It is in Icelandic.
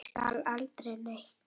Ég sagði aldrei neitt.